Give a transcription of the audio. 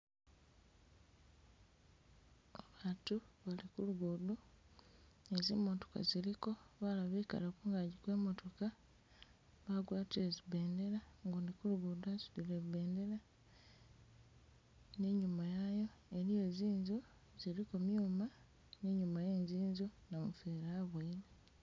Abatu bali kulugudo nizimotoka ziliko balala bekale kungagi kwe motoka bagwatile zibendela gundi kulugudo wasudile ibendela ninyuma yayo iliyo zinzu ziliko myuma ninyuma we zinzu namufeeli abuyele